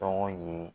Tɔgɔ ye